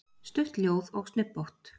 Stutt ljóð og snubbótt.